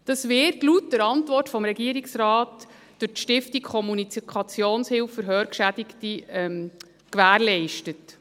Das wird laut Antwort des Regierungsrates durch die Stiftung Kommunikationshilfe für Hörgeschädigte (Procom) gewährleistet.